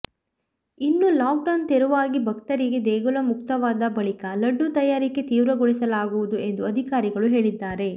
ಇನ್ನು ಲಾಕ್ಡೌನ್ ತೆರವಾಗಿ ಭಕ್ತರಿಗೆ ದೇಗುಲ ಮುಕ್ತವಾದ ಬಳಿಕ ಲಡ್ಡು ತಯಾರಿಕೆ ತೀವ್ರಗೊಳಿಸಲಾಗುವುದು ಎಂದು ಅಧಿಕಾರಿಗಳು ಹೇಳಿದ್ದಾರೆ